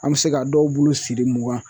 An bɛ se ka dɔw bulu siri mugan